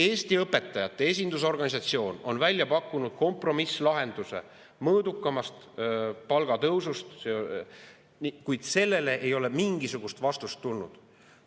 Eesti õpetajate esindusorganisatsioon on välja pakkunud kompromisslahenduse mõõdukamast palgatõusust, kuid sellele ei ole mingisugust vastust tulnud.